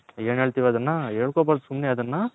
N ಹೇಳ್ತಿವಿ ಅದನ್ನ ಹೇಳ್ಕೊಬರ್ದು ಸುಮ್ನೆ ಅದುನ್ನ